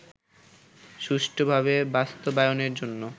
সুষ্ঠুভাবে বাস্তবায়নের জন্য